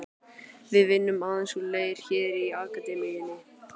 Við vinnum aðeins úr leir hér í Akademíunni.